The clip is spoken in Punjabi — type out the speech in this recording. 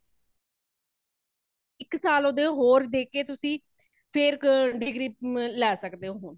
ਇਕ ਸਾਲ ਉਦ੍ਹੇ ਹੋਰ ਦੇਕੇ ਤੁਸੀ ਫ਼ੇਰ ਕ degree ਮ ਲੈ ਸੱਕਦੇ ਹੋ |